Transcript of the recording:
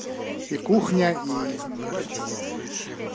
и кухня и